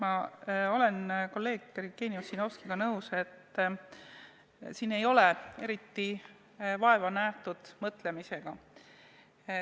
Ma olen kolleeg Jevgeni Ossinovskiga nõus, et nende puhul ei ole eriti vaeva nähtud mõtlemisega.